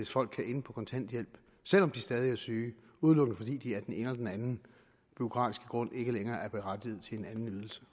folk kan ende på kontanthjælp selv om de stadig er syge udelukkende fordi de af den ene eller den anden bureaukratiske grund ikke længere er berettiget til en anden ydelse